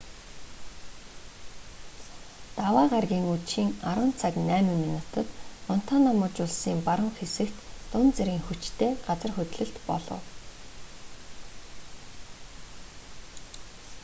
даваа гарагийн үдшийн 10:08 цагт монтана муж улсын баруун хэсэгт дунд зэргийн хүчтэй газар хөдлөлт болов